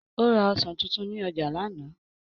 Ó ra ọsàn tuntun ní ọjà lánàá.